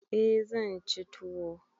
Eh zan ci tuwo.